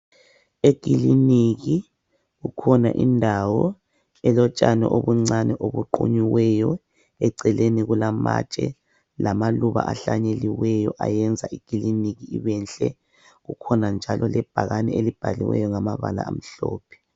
Ekiliniki kukhona indawo elotshani obuncane obuqunyiweyo. Eceleni kulamatshe lamaluba ahlanyeliweyo ayenza ikiliniki ibenhle Kukhona njalo ibhakane elibhaliweyo ngamabala amhlophe.